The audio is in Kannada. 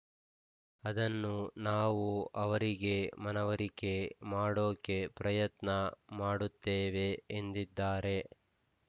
ಅದನ್ನು ನಾವು ಅವರಿಗೆ ಮನವರಿಕೆ ಮಾಡೋಕೆ ಪ್ರಯತ್ನ ಮಾಡುತ್ತೇವೆ ಎಂದಿದ್ದಾರೆ